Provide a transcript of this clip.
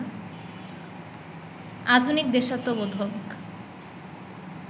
আধুনিক, দেশাত্মবোধক